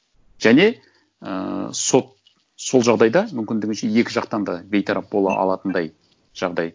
және ыыы сот сол жағдайда мүмкіндігінше екі жақтан да бейтарап бола алатындай жағдай